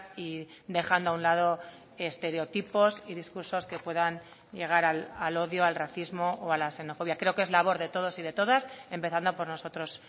y dejando a un lado estereotipos y discursos que puedan llegar al odio al racismo o a la xenofobia creo que es labor de todos y de todas empezando por nosotros